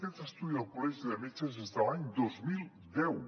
aquest estudi del col·legi de metges és de l’any dos mil deu